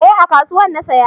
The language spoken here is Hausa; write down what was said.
Eh a kasuwan na siya